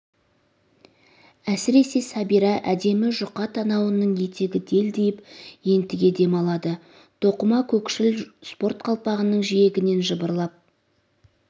әсіресе сәбира әдемі жұқа танауының етегі делдиіп ентіге дем алады тоқыма көкшіл спорт қалпағының жиегінен жыбырлап